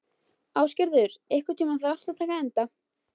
Ásgerður, einhvern tímann þarf allt að taka enda.